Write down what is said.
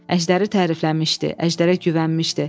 Əjdəri tərifləmişdi, əjdərə güvənmişdi.